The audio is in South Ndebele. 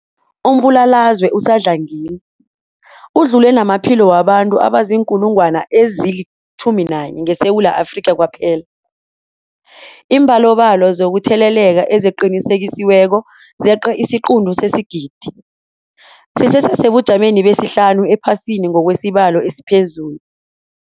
Umbulalazwe usadlangile udlule namaphilo wabantu abaziinkulungwana ezi-11 ngeSewula Afrika kwaphela. Iimbalobalo zokutheleleka eziqinisekisiweko zeqe isiquntu sesigidi, sisesebujameni besihlanu ephasini ngokwesibalo esiphezulu.